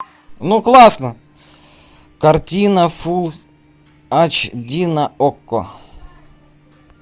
ну классно картина фулл эйч ди на окко